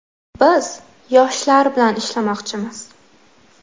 Biz yoshlar bilan ishlamoqchimiz” .